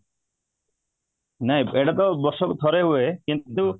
ନାଇଁ ଏଇଟା ତ ବର୍ଷ କୁ ଥରେ ହୁଏ କିନ୍ତୁ